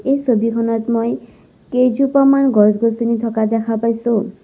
এই ছবিখনত মই কেইজোপামান গছ-গছনি থকা দেখা পাইছোঁ।